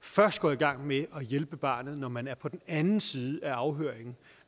først går i gang med at hjælpe barnet når man er på den anden side af afhøringen